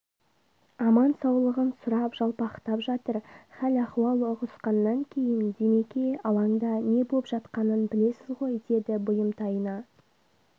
аман-саулығын сұрап жалпақтап жатыр хәл-ахуал ұғынысқаннан кейін димеке алаңда не боп жатқанын білесіз ғой деді бұйымтайына